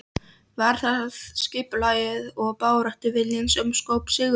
Var það skipulagið og baráttuviljinn sem skóp sigurinn?